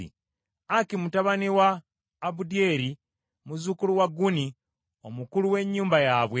Aki mutabani wa Abudyeri, muzzukulu wa Guni, omukulu w’ennyumba yaabwe.